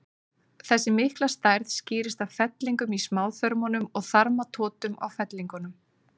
Þessi mikla stærð skýrist af fellingum í smáþörmunum og þarmatotum á fellingunum.